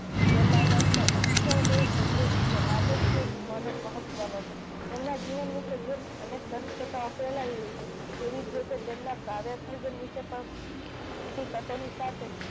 પ્રેમાનંદ નો અક્ષર દેહ સમૃદ્ધ છે માટે જ તે મન મહત્વ નો છે. એમના જીવન વિષે જેમ અનેક દંત કથાઓ ફેલાયેલી છે તેવી જ રીતે તેમના કાવ્ય સર્જન વિષે પણ